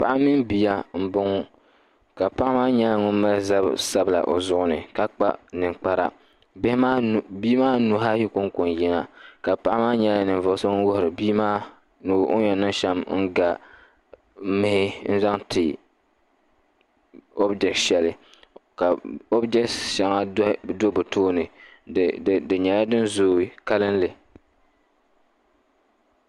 Paɣa mini biya m bɔŋɔ kapaɣimaa nyala. ŋun. mali zab sabila ozuɣuni ka kpa nin kpara bii maa nuha ayi koŋko n yina ka paɣi maa nyala ninvuɣ'so ŋun wuhiri bii maa n ga nuhi n zaŋ ti o bdɔshali ka o bdoshaŋa do bi tooni. di nyɛla din zoo kalinli,